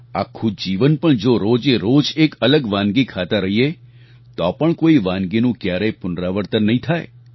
આખું જીવન પણ જો રોજેરોજ એક અલગ વાનગી ખાતા રહીએ તો પણ કોઈ વાનગીનું ક્યારેય પુનરાવર્તન નહીં થાય